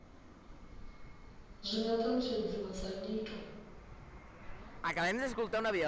zwi nga alutshedziwa sa nyito